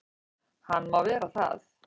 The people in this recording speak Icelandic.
Hann má vera það.